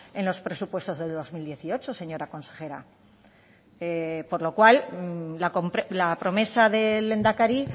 en los presupuestos de dos mil dieciocho señora consejera por lo cual la promesa del lehendakari